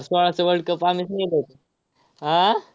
सोळाचा world cup आम्हीच नेत होतो. आह